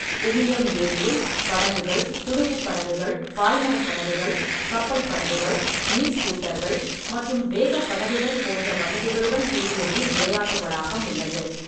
உமியம் ஏரியில் படகுகள், துடுப்புப் படகுகள், பாய்மரப் படகுகள், கப்பல் படகுகள், நீர் ஸ்கூட்டர்கள் மற்றும் வேகப் படகுகள் போன்ற வசதிகளுடன் கூடிய நீர் விளையாட்டு வளாகம் உள்ளது.